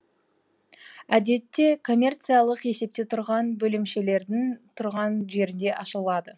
әдетте коммерциялық есепте тұрған бөлемшелердің тұрған жерінде ашылады